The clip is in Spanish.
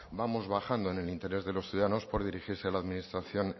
vamos bajando en el interés de los ciudadanos por dirigirse a la administración